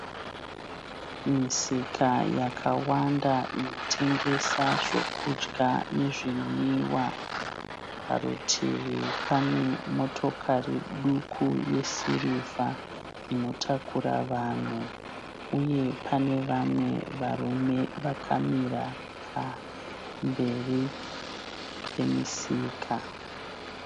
Misika yakawanda inotengesa zvokudya nezvinwiwa. Parutivi pane motikari duku yesirivha inotakura vanhu uye pane vamwe varume vakamira pamberi pemisika.